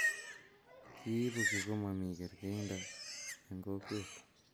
kiibu kii ko mamii kerkeindo eng' kokwet